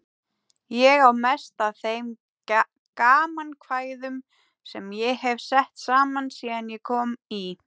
Ég á mest af þeim gamankvæðum sem ég hef sett saman síðan ég kom í